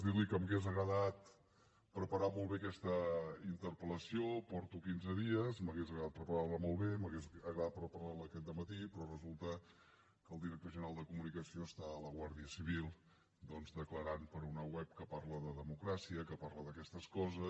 dir li que m’hauria agradat preparar molt bé aquesta interpel·lació porto quinze dies m’hauria agradat preparar la molt bé m’hauria agradat preparar la aquest dematí però resulta que el director general de comunicació està a la guàrdia civil declarant per una web que parla de democràcia que parla d’aquestes coses